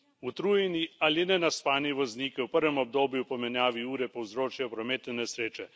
Utrujeni ali nenaspani vozniki v prvem obdobju po menjavi ure povzročajo prometne nesreče.